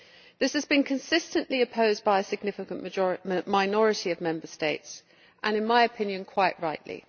This has been consistently opposed by a significant minority of Member States, and in my opinion quite rightly.